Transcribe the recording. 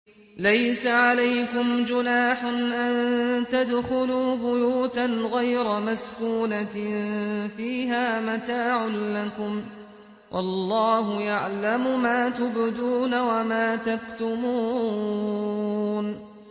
لَّيْسَ عَلَيْكُمْ جُنَاحٌ أَن تَدْخُلُوا بُيُوتًا غَيْرَ مَسْكُونَةٍ فِيهَا مَتَاعٌ لَّكُمْ ۚ وَاللَّهُ يَعْلَمُ مَا تُبْدُونَ وَمَا تَكْتُمُونَ